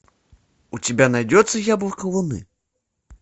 у тебя найдется яблоко луны